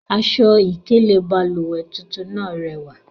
Aṣọ-ikele bálúwẹ̀ tuntun naa rẹwa.